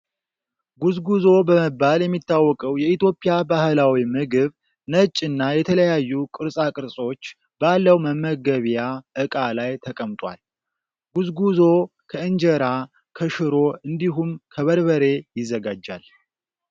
ጉዝጉዞ በመባል የሚታወቅ የኢትዮጵያ ባህላዊ ምግብ ነጭ እና የተለያዩ ቅርፃቅፆች ባለው መመገቢያ እቃ ላይ ተቀምጧል። ጉዝጉዞ ከእንጀራ ፣ከሽሮ እንዲሁም ከበርበሬ ይዘጋጃል።